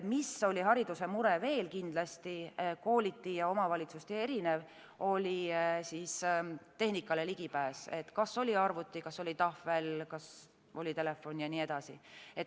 Mis oli hariduse mure veel kindlasti, kooliti ja omavalitsuseti erinev, oli ligipääs tehnikale – kas oli arvuti, tahvel, telefon jne.